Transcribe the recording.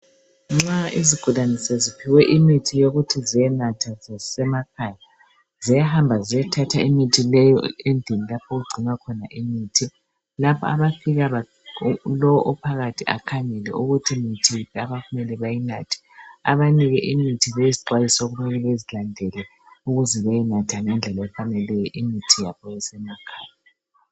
Nxa izigulane seziphiwe imithi yokuthi ziyenatha sezisemakhaya. Ziyahamba ziyethatha imithi leyo endlini lapho okugcinwa khona imithi. Lapha abafika lowo ophakathi akhangele iukuthi yimithi yiphi leyo okumele bayinathe. Uyabanika imithi lezixwayiso okumele bazilandele, ukuze bayenatha ingendlela efaneleyo, imithi yabo emakhaya.